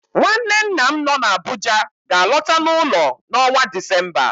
Nwanne nna m nọ n'Abuja ga-alọta n'ụlọ n'ọnwa Disemba